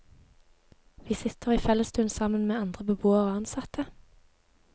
Vi sitter i fellesstuen sammen med andre beboere og ansatte.